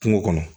Kungo kɔnɔ